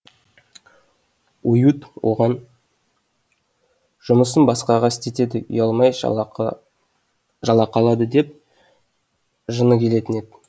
оюут оған жұмысын басқаға істетеді ұялмай жалақы жалақы алады деп жыны келетін еді